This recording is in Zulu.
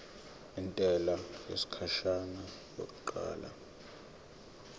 intela yesikhashana yokuqala